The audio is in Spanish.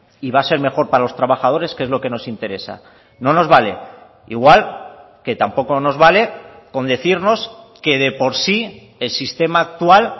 y va a ser mejor para los trabajadores que es lo que nos interesa no nos vale igual que tampoco nos vale con decirnos que de por sí el sistema actual